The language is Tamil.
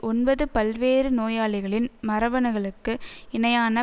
ஒன்பது பல்வேறு நோயாளிகளின் மரபணுக்களுக்கு இணையான